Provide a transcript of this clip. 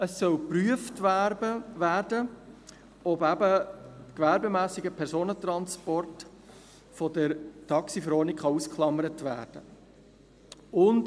Es soll geprüft werden, ob eben gewerbsmässiger Personentransport von der TaxiV ausgeklammert werden kann.